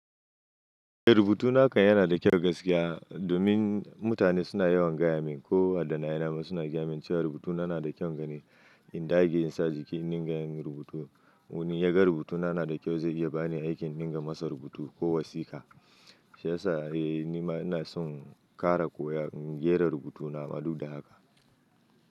Eh, rubutu na kan yana da kyau gaskiya. Domin mutane suna yawan gaya min ko malamai na suna gaya min cewa rubutu na yana da kyaun gani. In dage in sa jiki in dinga yin rubutu. Ko wani ya ga rubutu na yana da kyau zai iya ba ni aikin din ga masa rubutu ko wasika. Shi ya sa nima ina son ƙara koyan rera rubutu na ma ɗudda haka.